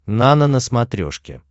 нано на смотрешке